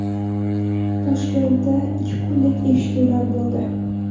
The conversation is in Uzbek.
Toshkentda ikki kunlik eshituvlar bo‘ldi.